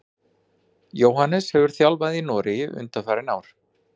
Jóhannes hefur þjálfað í Noregi undanfarin ár.